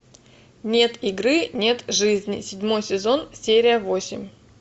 нет игры нет жизни седьмой сезон серия восемь